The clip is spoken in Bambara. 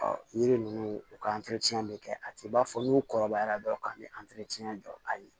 yiri ninnu u ka bɛ kɛ a tɛ b'a fɔ n'u kɔrɔbayara dɔrɔn k'a bɛ jɔ a ye